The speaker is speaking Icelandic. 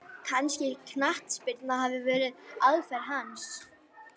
Kannski knattspyrna hafi verið aðferð hans?